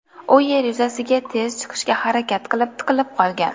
U yer yuzasiga tez chiqishga harakat qilib, tiqilib qolgan.